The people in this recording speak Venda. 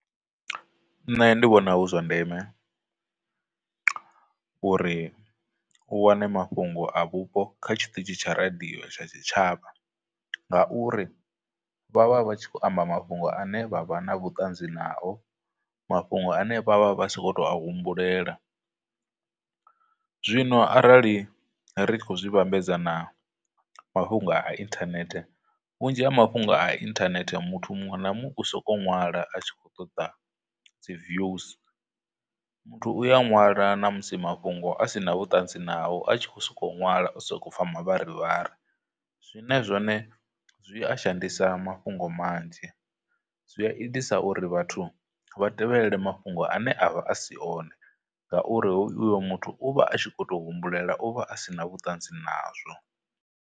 Nṋe ndi vhona hu zwa ndeme uri u wane mafhungo a vhupo kha tshiṱitshi tsha radio tsha tshitshavha, ngauri vha vha vha tshi khou amba mafhungo ane vha vha na vhutanzi nao, mafhungo ane vha vha vha si khou tou a humbulela. Zwino arali ri tshi khou zwi vhambedza na mafhungo a internet, vhunzhi ha mafhungo a internet muthu muṅwe na muṅwe u sokou nwala a tshi khou ṱoḓa dzi views, muthu uya ṅwala na musi mafhungo asina vhutanzi nao a tshi khou soko nwala o sokou upfha mavharivhari, zwine zwone zwi a shandisa mafhungo manzhi, zwi a itisa uri vhathu vha tevhelele mafhungo ane avha a si one, ngauri uyo muthu u vha a tshi khou to humbulela, u vha a sina vhuṱanzi nazwo.